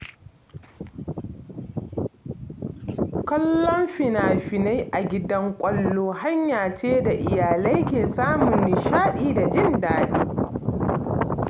Kallon fina-finai a gidan kallo hanya ce da iyalai ke samun nishaɗi da jin daɗi